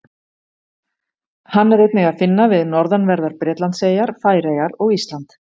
Hann er einnig að finna við norðanverðar Bretlandseyjar, Færeyjar og Ísland.